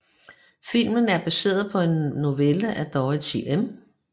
Filmen er baseret på en novelle af Dorothy M